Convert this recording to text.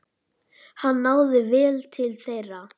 Hann náði vel til þeirra.